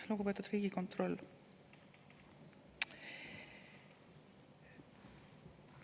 Lugupeetud Riigikontroll!